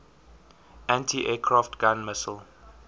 anti aircraft gun missile